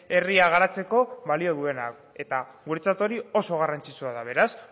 herria garatzeko balio duena eta guretzat hori oso garrantzitsua da beraz